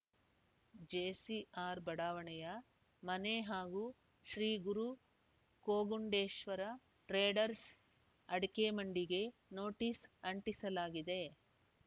JCR ಬಡಾವಣೆಯ ಮನೆ ಹಾಗೂ ಶ್ರೀಗುರು ಕೋಗುಂಡೇಶ್ವರ ಟ್ರೇಡರ್ಸ ಅಡಕೆಮಂಡಿಗೆ ನೋಟಿಸ್‌ ಅಂಟಿಸಲಾಗಿದೆ